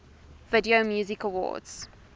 video music awards